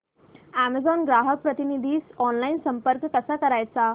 Amazon ग्राहक प्रतिनिधीस online संपर्क कसा करायचा